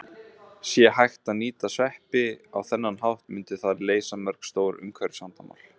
Sé hægt að nýta sveppi á þennan hátt myndi það leysa mörg stór umhverfisvandamál.